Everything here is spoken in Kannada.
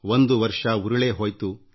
ಇಡೀ ವರ್ಷ ಕಳೆಯಿತಲ್ಲ